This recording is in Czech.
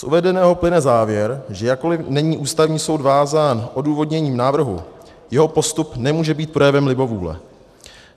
Z uvedeného plyne závěr, že jakkoli není Ústavní soud vázán odůvodněním návrhu, jeho postup nemůže být projevem libovůle.